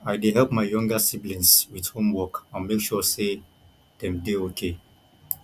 i dey help my younger siblings with homework and make sure sey dem dey okay